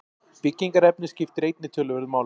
Byggingarefnið skiptir einnig töluverðu máli.